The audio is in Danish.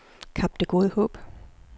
Kap Det Gode Håb